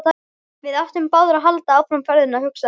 Við ættum báðir að halda áfram ferðinni, hugsaði hann.